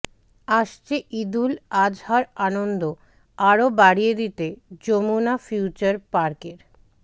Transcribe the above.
আসছে ঈদুল আজহার আনন্দ আরও বাড়িয়ে দিতে যমুনা ফিউচার পার্কের